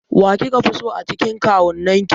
Wa kika fi so a cikin kawunnan ki?